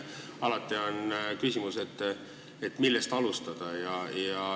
Alati on küsimus, millest alustada.